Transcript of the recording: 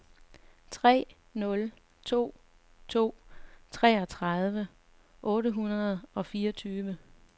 tre nul to to treogtredive otte hundrede og fireogtyve